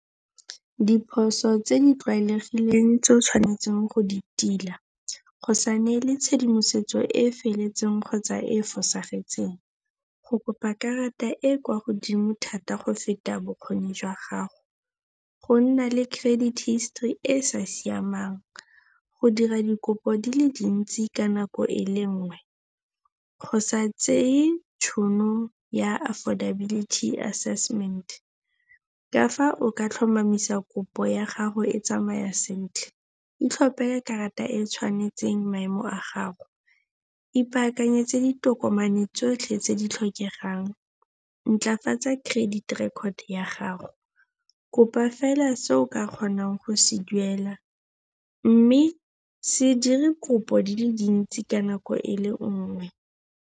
Diphoso tse di tlwaelegileng tse o tshwanetseng go di tila, go sa neele tshedimosetso e e felletseng kgotsa e e fosagetseng. Go kopa karata e kwa godimo thata go feta bokgoni jwa gago. Go nna le credit history e sa siamang. Go dira dikopo di le dintsi ka nako e le nngwe. Go sa tseye tšhono ya affordability assessment. Ka fa o ka tlhomamisa kopo ya gago e tsamaya sentle, itlhophele karata e e tshwanetseng maemo a gago. Ipaakanyetse ditokomane tsotlhe tse di tlhokegang. Ntlafatsa credit record ya gago. Kopa fela se o ka kgonang go se duela. Mme se dire kopo di le dintsi ka nako e le nngwe.